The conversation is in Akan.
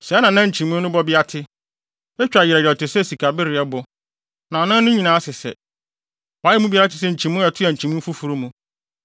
Sɛɛ na na nkyimii no bɔbea te: Etwa yerɛw yerɛw te sɛ sikabereɛbo, na anan no nyinaa sesɛ. Wɔayɛ mu biara te sɛ nkyimii a ɛtoa nkyimii foforo mu.